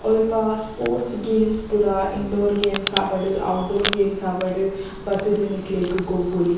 ಒಲ್ಪ sports games ಪೂರ indoor games ಆವಡ್ outdoor games ಆವಡ್ ಬತ್ತುದು ನಿಕ್ಲೆಗ್ ಗೊಬ್ಬೊಲಿ.